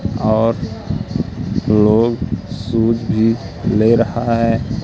और लोग शूज ले रहा है।